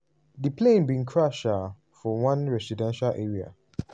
di plane bin crash um for one residential area.